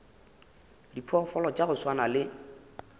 diphoofolo tša go swana le